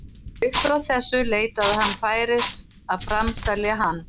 Upp frá þessu leitaði hann færis að framselja hann.